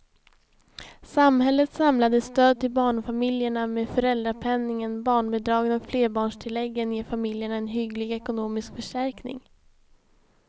Samhällets samlade stöd till barnfamiljerna med föräldrapenningen, barnbidragen och flerbarnstilläggen ger familjerna en hygglig ekonomisk förstärkning.